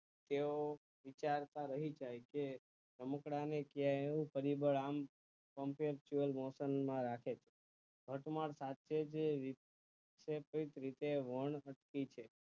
તેઓ વિચારતા રહી જાય છે રમકડાં ને કયા એવું પરિબળ રાખે અંત માં સાથે બે છે કે કેટલીક રીતે વર્ણવૃતિ છે